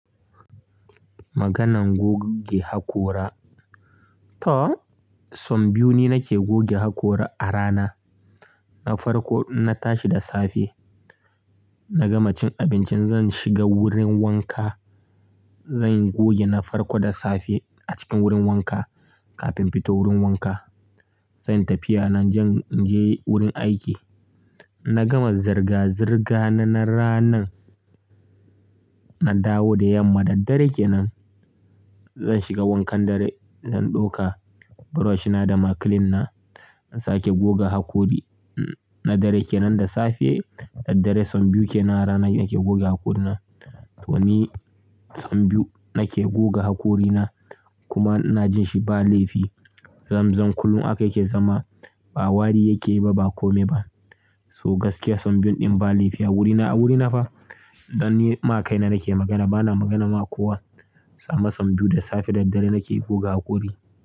Maganan goge hakora. To, sau biyu ni nake goge hakora a rana. Na farko, ina tashi da safe, na gama cin abinci zan shiga wurin wanka. Zan goge na farko da safe a cikin wurin wanka kafin fito wurin wanka. Zan yi tafiya na in je, in je wurin aiki. Na gama zirga-zirga na ranan, na dawo da yamma daddare kenan. Zan shiga wankan dare, zan ɗauka brush na da ma clean na, na sake goge hakori na dare kenan da safe. Daddare sau biyu ke na rana nake goge hakori na. To ni sau biyu nake goge hakori na kuma ina jin shi ba laifi. Zamzam kullum haka yake zama, ba wari yake yi ba, ba kome ba. So gaskiya sau biyun din ba laifi a wurina, a wurina fa. Dan ni ma kai na nake magana, bana magana ma kowa. Amma sau biyu da safe, daddare nake goge hakori.